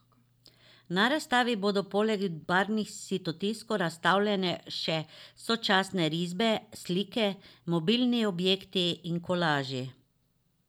Na razstavi bodo poleg barvnih sitotiskov razstavljene še sočasne risbe, slike, mobilni objekti in kolaži.